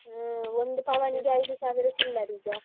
ಹ್ಮ್ ಒಂದು ಪವನಿಗೆ ಐದು ಸಾವಿರ ಚಿಲ್ಲರೆ ಈಗ.